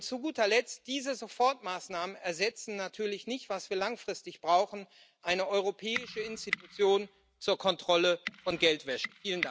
Und zu guter Letzt Diese Sofortmaßnahmen ersetzen natürlich nicht das, was wir langfristig brauchen eine europäische Institution zur Kontrolle von Geldwäsche.